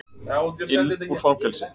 inn úr fangelsi.